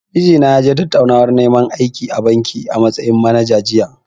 Mijina ya je tattaunawar neman aiki a banki, a matsayin manager, jiya.